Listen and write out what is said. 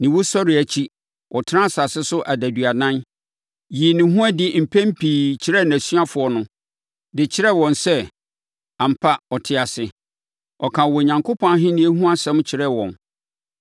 Ne wusɔreɛ akyi, ɔtenaa asase so adaduanan, yii ne ho adi mpɛn pii kyerɛɛ nʼasuafoɔ no de kyerɛɛ wɔn sɛ, ampa, ɔte ase. Ɔkaa Onyankopɔn Ahennie ho asɛm nso kyerɛɛ wɔn.